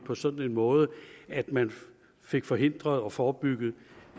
på sådan en måde at man fik forhindret og forebygget